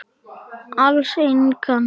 Alls engan.